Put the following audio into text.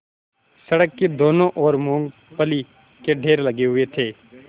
सड़क की दोनों ओर मूँगफली के ढेर लगे हुए थे